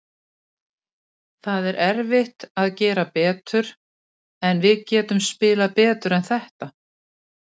Það er erfitt að gera betur, en við getum spilað betur en þetta.